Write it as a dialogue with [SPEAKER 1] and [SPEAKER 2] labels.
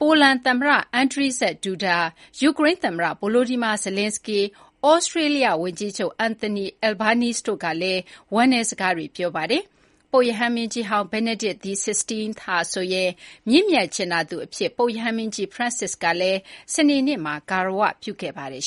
[SPEAKER 1] ပိုလန်သမ္မတ Andrzej Duda၊ ယူကရိန်းသမ္မတ Volodymyr Zelenskyy ၊ Australia ဝန်ကြီးချုပ် Anthony Albanese တို့ကလည်း ဝမ်းနည်းစကားတွေ ပြောကြားခဲ့ကြပါတယ်။ ပုပ်ရဟန်းမင်းကြီးဟောင်း Benedict XVI ဟာဆိုရင် မြင့်မြတ် ကြင်နာသူ အဖြစ် ပုပ်ရဟန်းမင်းကြီး Francis ကလည်း စနေနေ့မှာ ဂါရ၀ ပြုခဲ့ပါတယ်